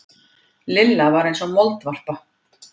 Lilla var eins og moldvarpa.